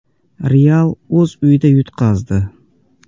“Real” o‘z uyida yutqazdi.